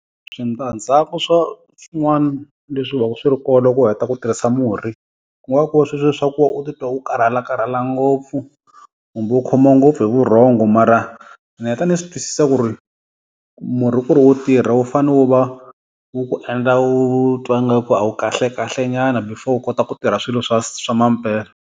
Switandzhaku swa swin'wana leswi va ku swi ri kona u heta ku tirhisa murhi, ku nga ku ri sweswiya swa ku va u titwa u karhalakarhala ngopfu, kumbe u khomiwa ngopfu hi vurhongo. Mara ni heta ni swi twisisa ku ri murhi ku ri wu tirha wu fane wu va wu ku endla u twa ngaku a wu kahlekahlenyana before u kota ku tirha swilo swa swa mampela.